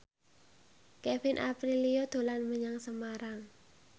Kevin Aprilio dolan menyang Semarang